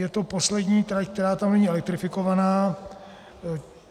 Je to poslední trať, která tam není elektrifikovaná.